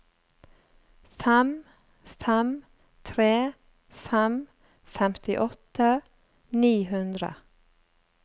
fem fem tre fem femtiåtte ni hundre